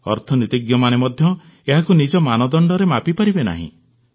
ଅର୍ଥନୀତିଜ୍ଞମାନେ ମଧ୍ୟ ଏହାକୁ ନିଜ ମାନଦଣ୍ଡରେ ମାପିପାରିବେ ନାହିଁ